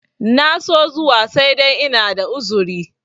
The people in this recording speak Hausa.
na so zuwa sai dai ina da uzuri